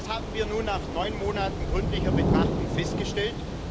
Was haben wir nun nach neun Monaten gründlicher Betrachtung festgestellt?